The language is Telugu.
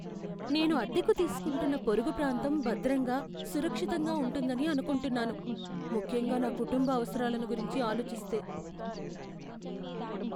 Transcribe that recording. నేను అద్దెకు తీసుకుంటున్న పొరుగు ప్రాంతం భద్రంగా, సురక్షితంగా ఉంటుందని అనుకుంటున్నాను, ముఖ్యంగా నా కుటుంబ అవసరాలను గురించి ఆలోచిస్తే.